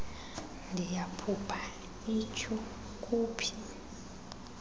ndiyaphupha iyhu kuphi